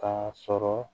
K'a sɔrɔ